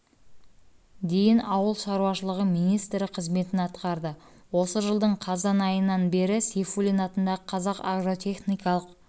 дейін ауыл шаруашылығы министрі қызметін атқарды осы жылдың қазан айынан бері сейфуллин атындағы қазақ агротехникалық